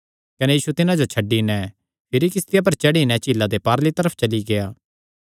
कने यीशु तिन्हां जो छड्डी नैं भिरी किस्तिया पर चढ़ी नैं झीला दे पारली तरफ चली गेआ